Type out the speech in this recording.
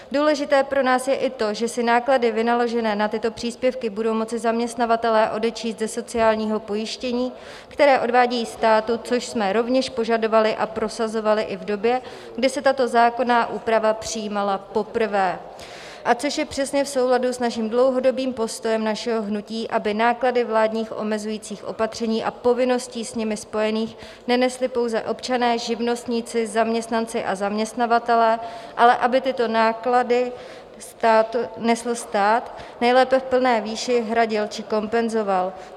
Důležité pro nás je i to, že si náklady vynaložené na tyto příspěvky budou moci zaměstnavatelé odečíst ze sociálního pojištění, které odvádějí státu, což jsme rovněž požadovali a prosazovali i v době, kdy se tato zákonná úprava přijímala poprvé, a což je přesně v souladu s naším dlouhodobým postojem našeho hnutí, aby náklady vládních omezujících opatření a povinností s nimi spojených nenesli pouze občané, živnostníci, zaměstnanci a zaměstnavatelé, ale aby tyto náklady nesl stát, nejlépe v plné výši hradil či kompenzoval.